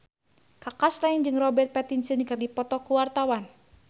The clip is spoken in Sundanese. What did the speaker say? Kaka Slank jeung Robert Pattinson keur dipoto ku wartawan